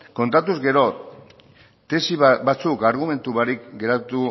kontatuz gero tesi batzuk argumentu barik geratu